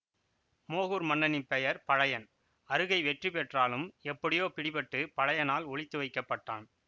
மோகூர் மன்னனின் பெயர் பழையன் அறுகை வெற்றி பெற்றாலும் எப்படியோ பிடிபட்டுப் பழையனால் ஒளித்து வைக்கப்பட்டான்